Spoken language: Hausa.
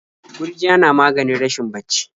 Gurjiya na maganin rashin bacci.